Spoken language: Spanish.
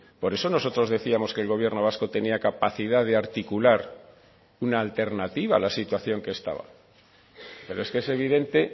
por eso nosotros decíamos que el gobierno vasco tenía capacidad de articular una alternativa a la situación que estaba pero es que es evidente